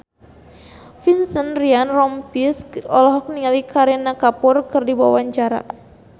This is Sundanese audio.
Vincent Ryan Rompies olohok ningali Kareena Kapoor keur diwawancara